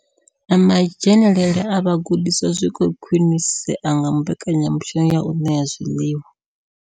Na madzhenele a vhagudiswa zwi khou khwinisea nga mbekanya mushumo ya u ṋea zwiḽiwa.